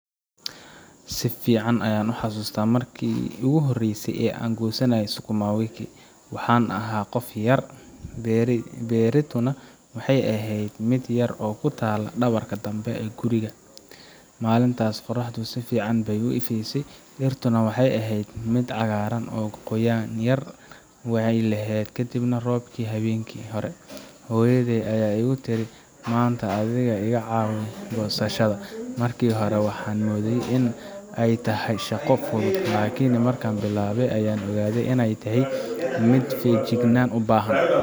si fiican ayaan u xasuustaa markii ugu horreysay ee aan goosanayay sukuma wiki. Waxaan ahaa qof yar, beertuna waxay ahayd mid yar oo ku taal dhabarka dambe ee gurigeenna. Maalintaas, qorraxdu si fiican bay u ifaysay, dhirtuna waxay ahayd mid cagaaran, qoyaan yarna way lahayd kadib roobkii habeenkii hore. Hooyaday ayaa igu tiri, Maanta adiga ayaa iga caawinaya goosashada. Markii hore waxaan u moodayay in ay tahay shaqo fudud, laakiin markaan bilaabay, ayaan ogaaday in ay tahay mid feejignaan u baahan.